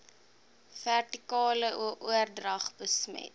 vertikale oordrag besmet